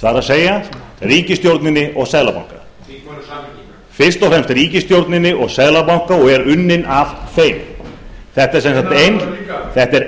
það er ríkisstjórninni og seðlabanka þingmönnum samfylkingarinnar fyrst og fremst ríkisstjórninni og seðlabanka og er unnin af þeim þetta